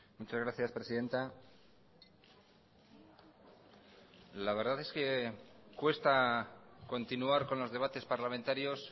muchas gracias presidenta la verdad es que cuesta continuar con los debates parlamentarios